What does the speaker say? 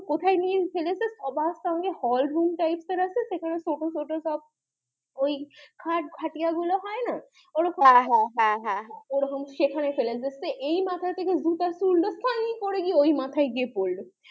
hall room types এর আছে সেখানে ছোট ছোট সব ওই খাট, খাটিয়া গুলো হয়না ওরকম হ্যাঁ হ্যাঁ হ্যাঁ এই মাথা থেকে জুতা ছুড়লো করে গিয়ে ওই মাথায় গিয়ে পড়লো